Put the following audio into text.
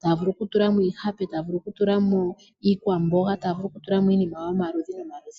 taya vulu oku tulamo iihape, taya vulu oku tulamo iikwamboga, taya vulu oku tulamo iinima yomaludhi noma ludhi.